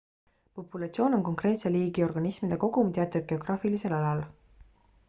populatsioon on konkreetse liigi organismide kogum teatud geograafilisel alal